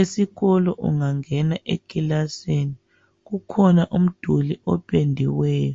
Esikolo ungangena ekilasini kukhona umduli opendiweyo